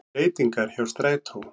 Breytingar hjá strætó